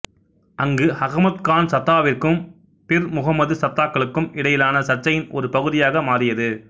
அங்கு அகமத் கான் சத்தாவிற்கும் பிர் முகம்மது சத்தாக்களுக்கும் இடையிலான சர்ச்சையின் ஒரு பகுதியாக மாறியது